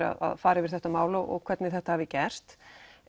að fara yfir þetta mál og hvernig þetta hafi gerst